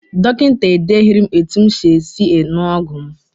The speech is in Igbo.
Dọkịta edeghiri m etu m ga- esi ṅụọ ọgwụ m.